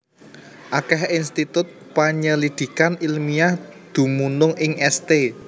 Akèh institut panyelidikan ilmiah dumunung ing St